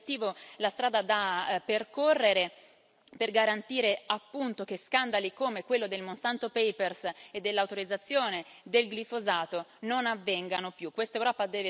Questo è l'obiettivo, la strada da percorrere, per garantire, appunto, che scandali come quello dei Monsanto Papers e dell'autorizzazione del glifosato non avvengano più.